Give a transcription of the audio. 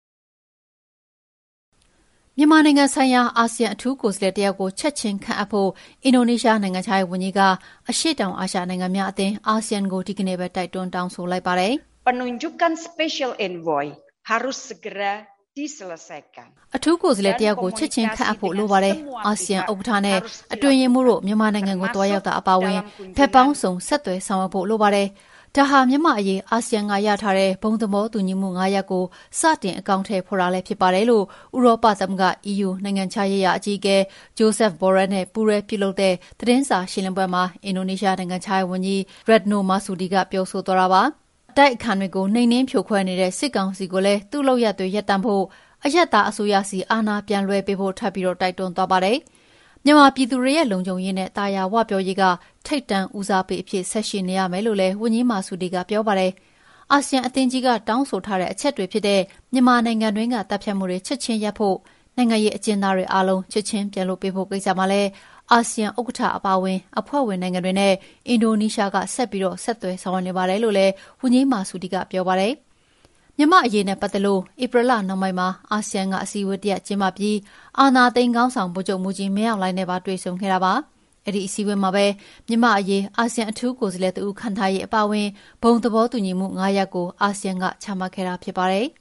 မြန်မာနိုင်ငံဆိုင်ရာ အာဆီယံ အထူးကိုယ်စားလှယ်တယောက်ကို ချက်ချင်းခန့်အပ်ဖို့ အင်ဒိုနီးရှားနိုင်ငံခြားရေးဝန်ကြီးက အရှေ့တောင်အာရှနိုင်ငံများအသင်း ASEAN ကို ဒီကနေ့ပဲတိုက်တွန်းတောင်းဆိုလိုက်ပါတယ်။ “အထူးကိုယ်စားလှယ်တယောက်ကို ချက်ချင်းခန့်အပ်ဖို့ လိုပါတယ်။ အာဆီယံ ဥက္ကဋ္ဌနဲ့ အတွင်းရေးမှူးတို့ မြန်မာနိုင်ငံကို သွားရောက်တာအပါအဝင် ဘက်ပေါင်းစုံ ဆက်သွယ်ဆောင်ရွက်ဖို့လိုပါတယ်။ ဒါဟာ မြန်မာ့အရေးအာဆီယံက ရထားတဲ့ ဘုံသဘောတူညီမှု ၅ ရပ်ကို စတင်အကောင်အထည်ဖော်တာလည်းဖြစ်ပါတယ်။" လို့ ဥရောပသမဂ္ဂ EU နိုင်ငံခြားရေးရာအကြီးအကဲ Josef Borrell နဲ့ ပူးတွဲပြုလုပ်တဲ့ သတင်းစာရှင်းလင်းပွဲမှာ အင်ဒိုနီးရှား နိုင်ငံခြားရေးဝန်ကြီး Retno Marsudi က ပြောဆိုသွားတာပါ။ အတိုက်အခံတွေကို နှိမ်နင်းဖြိုခွဲနေတဲ့ စစ်ကောင်စီကိုလည်း သူ့လုပ်ရပ်တွေ ရပ်တန့်ဖို့၊ အရပ်သားအစိုးရဆီ အာဏာပြန်လွှဲပေးဖို့ ထပ်ပြီး တိုက်တွန်းသွားပါတယ်။ မြန်မာပြည်သူတွေရဲ့လုံခြုံရေးနဲ့ သာယာဝပြောရေးက ထိပ်တန်းဦးစားပေးအဖြစ်ဆက်ရှိနေရမယ်လို့လည်း ဝန်ကြီး Marsudi ကပြောပါတယ်။ အာဆီယံအသင်းကြီးက တောင်းဆိုထားတဲ့ အချက်တွေဖြစ်တဲ့ မြန်မာနိုင်ငံတွင်းက သတ်ဖြတ်မှုတွေချက်ချင်းရပ်ဖို့၊ နိုင်ငံရေးအကျဉ်းသားတွေအားလုံး ချက်ချင်းပြန်လွှတ်ပေးဖို့ကိစ္စမှာလည်း အာဆီယံဥက္ကဋ္ဌအပါအဝင် အဖွဲ့ဝင်နိုင်ငံတွေနဲ့ အင်ဒိုနီးရှားနိုင်ငံက ဆက်ပြီး ဆက်သွယ်ဆောင်ရွက်နေပါတယ်လို့လည်း ဝန်ကြီး Marsudi ကပြောပါတယ်။ မြန်မာ့အရေးနဲ့ပတ်သက်လို့ ဧပြီလနှောင်းပိုင်းမှာ အာဆီယံက အစည်းအဝေး တရပ်ကျင်းပပြီး အာဏာသိမ်းခေါင်းဆောင် ဗိုလ်ချုပ်မှူးကြီးမင်းအောင်လှိုင်နဲ့ပါ တွေ့ဆုံခဲ့တာပါ။ အဲဒီအစည်းအဝေးမှာပဲ မြန်မာ့အရေး အာဆီယံအထူးကိုယ်စားလှယ်တဦး ခန့်ထားရေးအပါအဝင် ဘုံသဘောတူညီချက် ၅ ရပ်ကို အာဆီယံက ချမှတ်ခဲ့တာဖြစ်ပါတယ်